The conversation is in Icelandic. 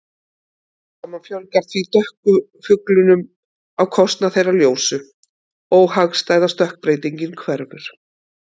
Smám saman fjölgar því dökku fuglunum á kostnað þeirra ljósu- óhagstæða stökkbreytingin hverfur.